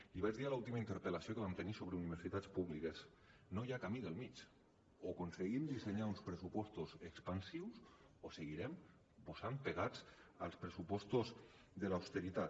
l’hi vaig dir a l’última interpel·lació que vam tenir sobre universitats públiques no hi ha camí del mig o aconseguim dissenyar uns pressupostos expansius o seguirem posant pegats als pressupostos de l’austeritat